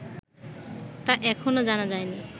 তা এখনও জানা যায়নি